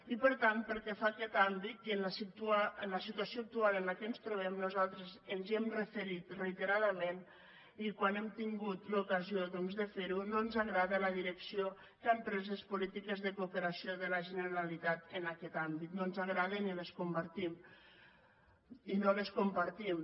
i per tant pel que fa a aquest àmbit i en la situació actual en què ens trobem nosaltres ens hi hem referit reiteradament i quan hem tingut l’ocasió doncs de fer ho no ens agrada la direcció que han pres les polítiques de cooperació de la generalitat en aquest àmbit no ens agraden i no les compartim